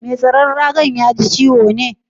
Mai tsaron raga'n ya ji ciwo ne?